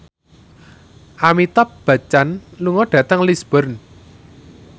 Amitabh Bachchan lunga dhateng Lisburn